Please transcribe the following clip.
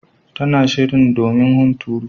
Tana shirin domin hunturu.